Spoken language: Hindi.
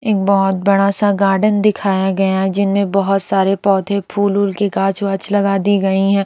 एक बहुत बड़ा सा गार्डन दिखाया गया जिनमें बहुत सारे पौधे फूल वूल के कांच वांच लगा दी गई हैं।